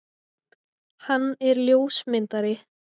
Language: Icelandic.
Hann er ljósmyndari.